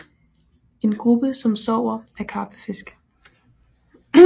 En gruppe som sover er karpefisk